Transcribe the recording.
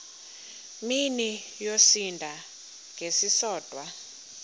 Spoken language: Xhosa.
mini yosinda ngesisodwa